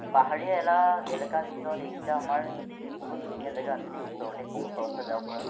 পাহাৰীয়া এলাকা এলেকাৰ ভিতৰত এইকেইটা আমাৰ বহুত ধুনীয়া জাগা আছে দেই ওচৰতে কম খৰচত যাব পৰা